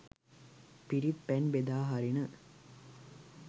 පිරිත් පැන් බෙදා හරින